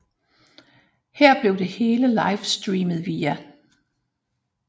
Her blev det hele livestreamet via